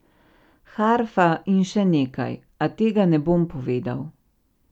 Harfa in še nekaj, a tega ne bom povedal.